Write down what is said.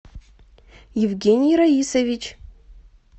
евгений раисович